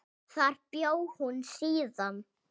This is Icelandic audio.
Þar bjó hún síðan.